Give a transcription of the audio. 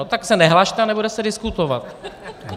No tak se nehlaste a nebude se diskutovat.